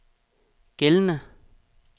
gældende